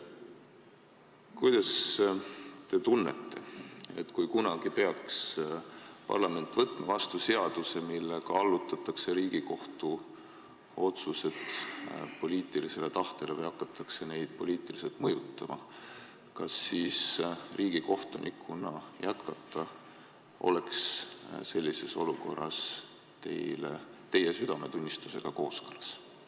Kuidas te tunnete, kui kunagi peaks parlament võtma vastu seaduse, millega allutatakse Riigikohtu otsused poliitilisele tahtele või hakatakse neid poliitiliselt mõjutama, kas sellises olukorras oleks riigikohtunikuna jätkata teie südametunnistusega kooskõlas?